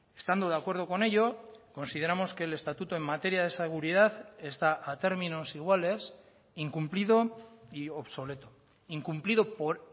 estando de acuerdo con ello consideramos que el estatuto en materia de seguridad está a términos iguales incumplido y obsoleto incumplido por